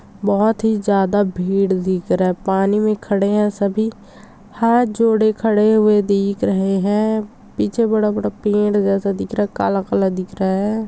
--बहोत ही ज्यादा भीड़ दिख रहा पानी में खड़े है सभी हाथ जोड़े खड़े हुए दिख रहे है पीछे बड़ा बड़ा पेड़ जैसा दिख रहा है काला काला दिख रहा है।